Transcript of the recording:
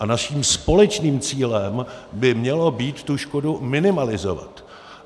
A naším společným cílem by mělo být tu škodu minimalizovat.